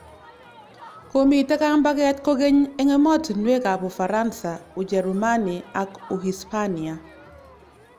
Komitei kambaget kokeny eng emotinwekab Ufaransa ,Ujerumani ak Uhispania .